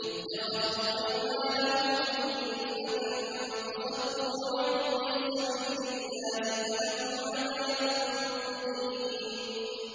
اتَّخَذُوا أَيْمَانَهُمْ جُنَّةً فَصَدُّوا عَن سَبِيلِ اللَّهِ فَلَهُمْ عَذَابٌ مُّهِينٌ